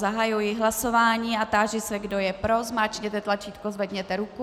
Zahajuji hlasování a táži se, kdo je pro, zmáčkněte tlačítko, zvedněte ruku.